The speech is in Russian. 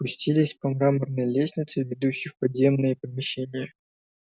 спустились по мраморной лестнице ведущей в подземные помещения